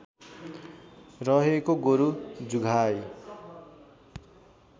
रहेको गोरु जुधाइ